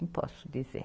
Não posso dizer.